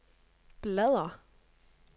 bladr